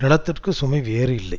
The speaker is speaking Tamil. நிலத்திற்கு சுமை வேறு இல்லை